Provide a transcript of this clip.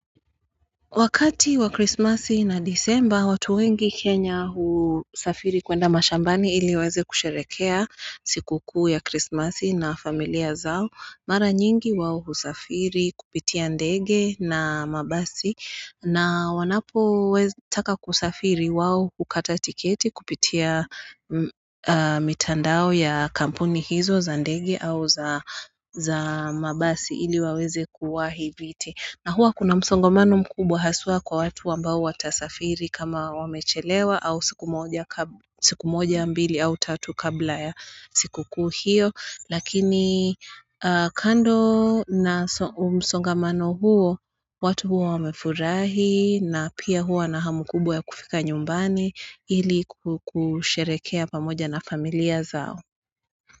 Wakati wa Christmas na December, watu wengi Kenya husafiri kwenda mashambani ili waweze kusherekea siku kuu ya Christmas na familia zao. Mara nyingi wao husafiri kupitia ndege na mabasi na wanapotaka kusafiri wao hukata tiketi kupitia mitandao ya kampuni hizo za ndege au za mabasi ili waweze kuwahi viti. Na huwa kuna msongamano mkubwa haswa kwa watu ambao watasafiri kama wamechelewa au siku moja mbili au tatu kabla ya siku kuu hio. Lakini kando na msongamano huo, watu huwa wamefurahi na pia huwa na hamu kubwa ya kufika nyumbani ili kusherekea pamoja na familia zao.